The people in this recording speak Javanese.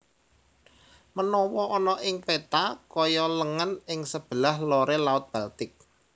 Menawa ana ing peta kaya lengen ing sebelah lore Laut Baltik